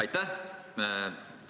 Aitäh!